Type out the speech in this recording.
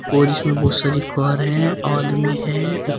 और इसमें बहुत सारी कार हैं आदमी हैं।